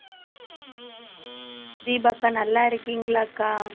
தீபா அக்கா நல்லா இருக்கீங்களாக்கா